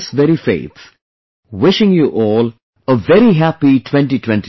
With this very faith, wishing you all a very Happy 2022